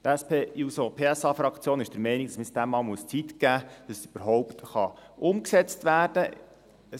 Die SP-JUSO-PSA-Fraktion ist der Meinung, dass man dem überhaupt einmal Zeit geben muss, damit es überhaupt erst einmal umgesetzt werden kann.